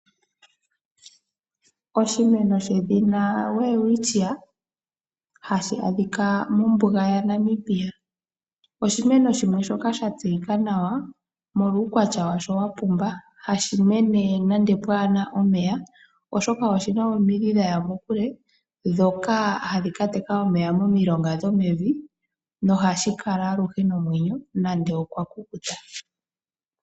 Oshimeno shedhina Welwitschia hashi adhika mombuga yaNamibia oshimeno shimwe shoka sha tseyika nawa molwa uukwatya washo wa pumba. Ohashi mene nande pwaana omeya oshoka oshina omidhi dha ya mokule ndhoka hadhi ka teka omeya momilonga dhomevi nohashi kala aluhe nomwenyo nande okwa kukuta.